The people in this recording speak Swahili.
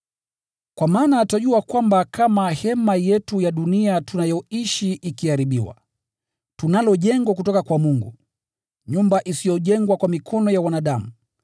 Kwa maana twajua kama hema yetu ya dunia tunayoishi ikiharibiwa, tunalo jengo kutoka kwa Mungu, nyumba iliyo ya milele kule mbinguni, isiyojengwa kwa mikono ya wanadamu.